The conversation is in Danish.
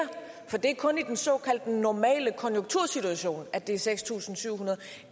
for det er kun i den såkaldte normale konjunktursituation at det er seks tusind syv hundrede